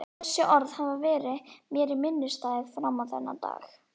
Þessi orð hafa verið mér minnisstæð fram á þennan dag.